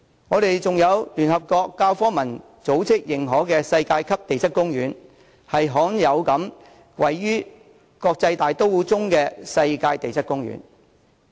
我們還有聯合國教科文組織認可的世界級地質公園，是罕有位於國際大都會之中的世界級地質公園。